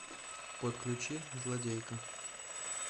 подключи злодейка